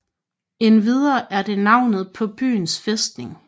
Endvidere er det navnet på byens fæstning